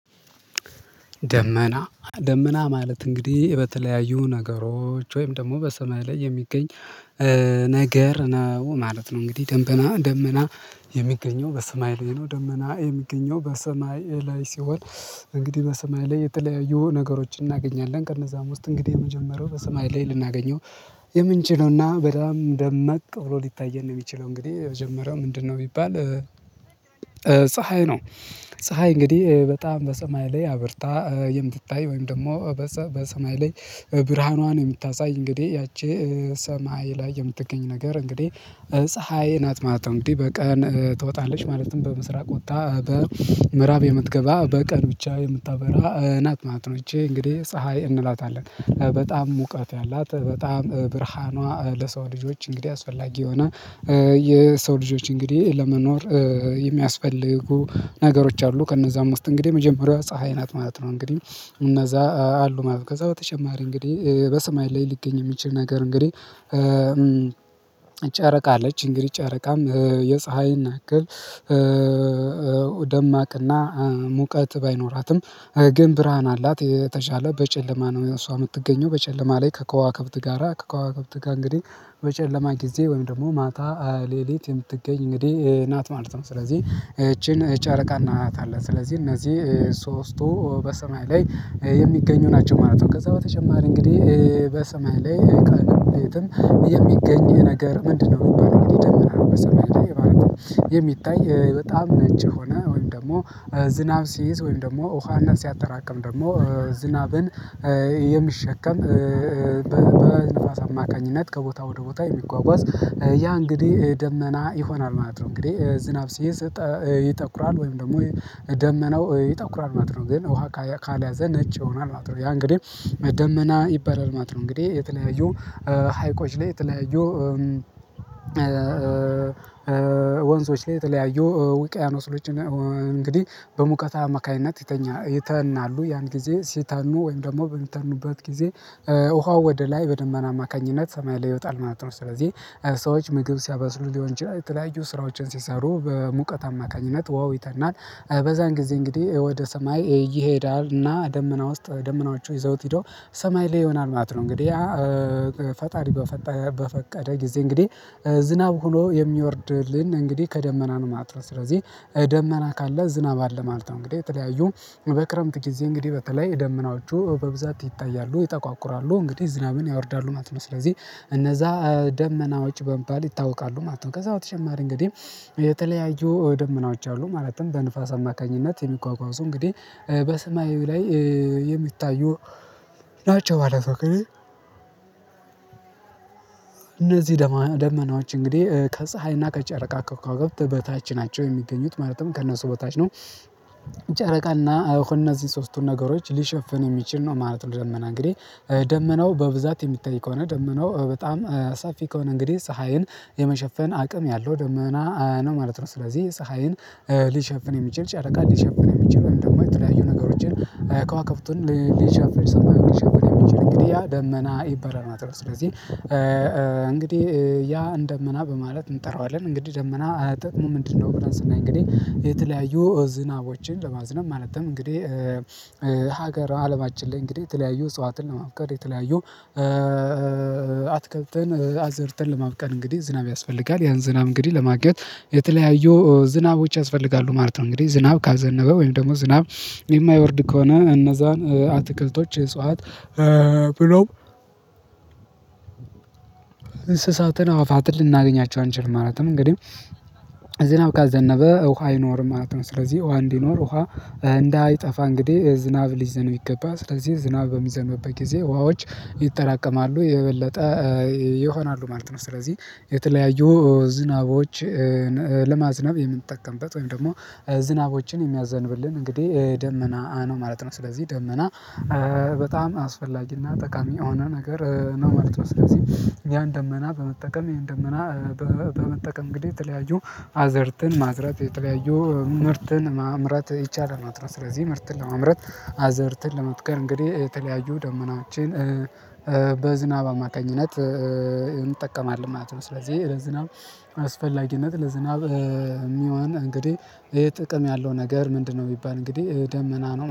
ደመና ደመና ማለት እንግዲህ በተለያዩ ነገሮች ወይም ደግሞ በሰማይ ላይ የሚገኝ ነገር ነው ማለት ነው። እንግዲህ ደምበና ደመና የሚገኘው በሰማይ ላይ ነው። ደመና የሚገኘው በሰማይ ላይ ሲሆን እንግዲህ በሰማይ ላይ የተለያዩ ነገሮችን እናገኛለን ከእነዛም ውስጥ እንግዲህ የመጀመሪያው በሰማይ ላይ ልናገኘው የምንችለውና በጣም ደመቅ ብሎ ሊታየን ነው የሚችለው እንግዲህ የመጀመሪያው ምንድነው ቢባል? ፀሀይ ነው። ፀሀይ እንግዲህ በጣም በሰማይ ላይ አብርታ የምትታይ ወይም ደግሞ በሰ በሰማይ ላይ ብርሃኗን የምታሳይ እንግዲህ ያቺ ሰማይ ላይ የምትገኝ ነገር እንግዲህ ፀሀይ ናት ማለት ነው። እንግዲህ በቀን ትወጣለች ማለትም በምስራቅ ወጥታ በምዕራብ የምትገባ በቀን ብቻ የምታበራ ናት ማለት ነው። እንግዲህ ፀሀይ እንላታለን። በጣም ሙቀት ያላት በጣም ብርሃኗ ለሰው ልጆች እንግዲህ አስፈላጊ የሆነ የሰው ልጆች እንግዲህ ለመኖር የሚያስፈልጉ ነገሮች አሉ ከእነዛ ውስጥ እንግዲህ የመጀመሪያው ፀሀይ ናት ማለት ነው። እንግዲህ እነዛ አሉ ማለት ከዛ በተጨማሪ እንግዲህ በሰማይ ላይ ሊገኝ የሚችል ነገር እንግዲህ። ጨረቃ አለች እንግዲህ ጨረቃም የፀሀይን ያክል ደማቅና ሙቀት ባይኖራትም ግን ብርሃን አላት የተሻለ በጨለማ ነው እሷ የምትገኘው በጨለማ ላይ ከከዋክብት ጋራ ከከዋክብት ጋራ እንግዲህ በጨለማ ጊዜ ወይም ደግሞ ማታ ሌሊት የምትገኝ እንግዲህ ናት ማለት ነው። ስለዚህ ይቺን ጨረቃ እንላታለን ስለዚህ እነዚህ ሶስቱ በሰማይ ላይ የሚገኙ ናቸው ማለት ነው። ከዛ በተጨማሪ እንግዲ በሰማይ ላይ ከአንድ የሚገኝ ነገር ምንድነው? የሚባለው እንግዲህ ደመና በሰማይ ማለት ነው። በጣም ነጭ ሆነ ወይም ደግሞ ዝናብ ሲይዝ ወይም ደግሞ ውሃና ሲያጠራቅም ደግሞ ዝናብን የሚሸከም በንፋስ አማካኝነት ከቦታ ወደ ቦታ የሚጓጓዝ ያ እንግዲህ ደመና ይሆናል ማለት ነው። እንግዲህ ዝናብ ሲይዝ ይተኩራል ወይም ደግሞ ደመናው ይተኩራል ማለት ነው። ግን ውሃ ካልያዘ ነጭ ይሆናል አዎ ያ እንግዲህ መደመና ይባላል ማለት ነው። እንግዲህ የተለያዩ ሀይቆች ላይ የተለያዩ ወንዞች ላይ የተለያዩ ውቅያኖሶች በሙቀት አማካኝነት ይተናሉ ያን ጊዜ ሲተኑ ወይም ደግሞ በሚተኑበት ጊዜ ውሃው ወደ ላይ በደመና አማካኝነት ሰማይ ላይ ይወጣል ማለት ነው። ስለዚህ ሰዎች ምግብ ሲያበስሉ ሊሆን ይችላል የተለያዩ ስራዎችን ሲሰሩ በሙቀት አማካኝነት ውሃው ይተናል በዛን ጊዜ እንግዲህ ወደ ሰማይ ይሄዳል እና ደመና ውስጥ ደመናዎቹ ይዘውት ሄደው ሰማይ ላይ ይሆናል ማለት ነው። እንግዲህ ፈጣሪ በፈቀደ ጊዜ እንግዲህ ዝናብ ሆኖ የሚወርድልን እንግዲህ ከደመናኑ ማለት ነው። ስለዚህ ደመና ካለ ዝናብ አለ ማለት ነው። እንግዲህ የተለያዩ ጊዜ እንግዲህ በተለይ ደመናዎቹ በብዛት ይታያሉ ይጠቋቁራሉ እንግዲህ ዝናብን ያወርዳሉ ማለት ነው። ስለዚህ እነዛ ደመና ወጪ በመባል ይታወቃሉ ማለት ነው። ከዛ በተጨማሪ እንግዲህ የተለያዩ ደመናዎች አሉ ማለትም በንፋስ አማካኝነት የሚጓጓዙ ሰው እንግዲህ በስማዩ ላይ የሚታየው ናቸው ማለት ነው። እነዚህ ደመናዎች እንግዲህ ከፀሀይና ከጨረቃ ከክዋከበት በታች ናቸው የሚገኙት ማለትም ከእነሱ በታች ነው። ጨረቃና እነዚህ ሶስቱን ነገሮች ሊሸፍን የሚችል ነው ማለት ነው። ደመና እንግዲህ ደመናው በብዛት የሚታይ ከሆነ ደመናው በጣም ሰፊ ከሆነ እንግዲህ ፀሀይን የመሸፈን አቅም ያለው ደመና ነው ማለት ነው። ስለዚህ ፀሀይን ሊሸፍን የሚችል ጫረቃ ሊሸፍን የሚችል እንደማይችል የሚለያዩ ነገሮችን ከዋክብን ሊሸፈን ሊሸፈን የሚችል እንግዲህ ያ ደመና ይባላል ማለት ነው። ስለዚህ እንግዲህ ያ እንደመና በማለት እንጠራዋለን እንግዲህ ደመና ጥቅሙ ምንድነው? ብለን ስናይ እንግዲህ የተለያዩ ዝናቦችን ለማዝነብ ማለትም እንግዲህ ሀገር አለማችን ላይ እንግዲህ የተለያዩ እጽዋትን ለማብቀል የተለያዩ አትክልትን አዘርተን ለማብቀል እንግዲህ ዝናብ ያስፈልጋል ያን ዝናብ እንግዲህ ለማግኘት የተለያዩ ዝናቦች ያስፈልጋሉ ማለት ነው። እንግዲህ ዝናብ ካዘነበ ወይም ደግሞ ዝናብ የማይወርድ ከሆነ እነዛን አትክልቶች እጽዋት ብሎም እንስሳትን አዋፋትን ልናገኛቸው አንችልም። ማለትም እንግዲህ ዝናብ ካዘነበ ውሃ አይኖርም ማለት ነው። ስለዚህ ውሃ እንዲኖር ውሃ እንዳይጠፋ እንግዲህ ዝናብ ሊዘንብ ይገባል። ስለዚህ ዝናብ በሚዘኑበት ጊዜ ውሃዎች ይጠራቀማሉ የበለጠ ይሆናሉ ማለት ነው። ስለዚህ የተለያዩ ዝናቦችን ለማዝናብ የምንጠቀምበት ወይም ደግሞ ዝናቦችን የሚያዘንብልን እንግዲህ ደመና ነው ማለት ነው። ስለዚህ ደመና በጣም አስፈላጊና ጠቃሚ የሆነ ነገር ነው ማለት ነው። ስለዚህ ያን ደመና በመጠቀም ይሄን ደመና በመጠቀም እንግዲህ የተለያዩ አዘርተን ማዝረት የተለያዩ ምርትን ማምረት ይቻላል ነው። ስለዚህ ምርትን ለማምረት አዘርትን ለመትከር እንግዲህ የተለያዩ ደመናዎችን አማካኝነት እንጠቀማል ማለት ነው። ስለዚህ ለዝናብ አስፈላጊነት ለዝናብ የሚሆን እንግዲህ ይሄ ጥቅም ያለው ነገር ምንድነው? የሚባል እንግዲህ ደመና ነው